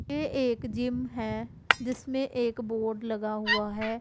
ये एक जिम है जिसमें एक बोर्ड लगा हुआ है।